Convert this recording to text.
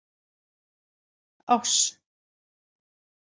Áss